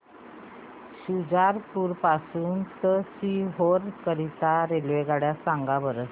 शुजालपुर पासून ते सीहोर करीता रेल्वेगाड्या सांगा बरं